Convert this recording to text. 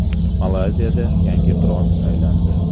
Malayziyada yangi qirol saylandi.